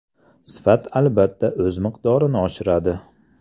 Sifat albatta o‘z miqdorini oshiradi.